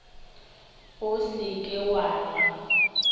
o se ke wa nwa